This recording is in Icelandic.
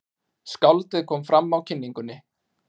Skáldið kom fram á kynningunni.